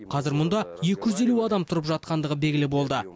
қазір мұнда екі жүз елу адам тұрып жатқандығы белігілі болды